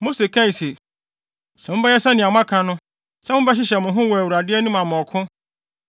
Mose kae se, “Sɛ mobɛyɛ sɛnea moaka no, sɛ mobɛhyehyɛ mo ho wɔ Awurade anim ama ɔko,